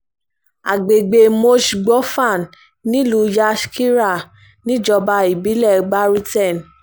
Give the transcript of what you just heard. àgbègbè mòshí-gbòfàn nílùú yashkira um níjọba ìbílẹ̀ baruten